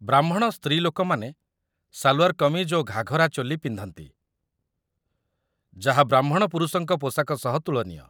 ବ୍ରାହ୍ମଣ ସ୍ତ୍ରୀଲୋକମାନେ ସାଲ୍‌ୱାର୍ କମିଜ୍ ଓ ଘାଘରା ଚୋଲି ପିନ୍ଧନ୍ତି, ଯାହା ବ୍ରାହ୍ମଣ ପୁରୁଷଙ୍କ ପୋଷାକ ସହ ତୁଳନୀୟ